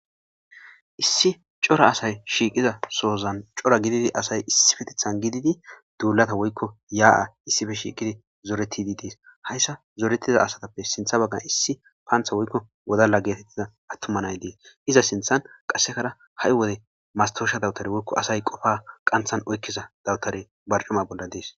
issi cora asay shiiqiza sohozan cora gididi asay issifetithan gididi duulata woykko yaa7a issife shiiqidi zooreti di dees hayssa zooretiza asatappe sintha baggan issi paantha woykko wodalla geetettida attumanay dee iza sinthan qassekara ha7i wode mastosha dawutari woykko asay qofa qanthan oykkiza dawutare barcuma bolla dees